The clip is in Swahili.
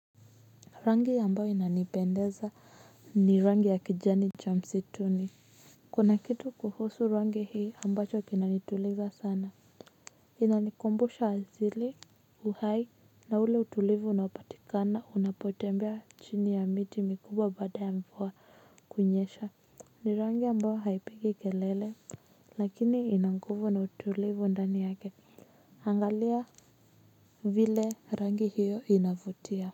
Rangi ambayo inanipendeza ni rangi ya kijani cha msituni kuna kitu kuhusu rangi hii ambacho kinanituliza sana inanikumbusha asili uhai na ule utulivu na unaopatikana unapotembea chini ya miti mikubwa baada ya mvua kunyesha ni rangi ambao haipigi kelele lakini ina nguvu na utulivu ndani yake angalia vile rangi hiyo inavutia.